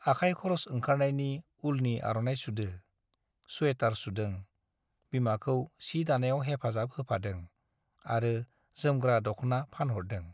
आखाय खरस ओंखारनायनि उलनि आर'नाइ सुदो , सुवेटार सुदों, बिमाखौ सि दानायाव हेफाजाब होफादों आरो जोमग्रा दख्ना फानहरदों।